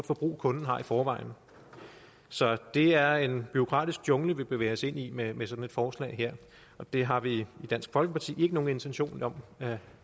forbrug kunden har i forvejen så det er en bureaukratisk jungle vi bevæger os ind i med med sådan et forslag her og det har vi i dansk folkeparti ikke nogen intention om at